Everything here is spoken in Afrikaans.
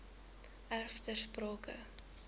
erf ter sprake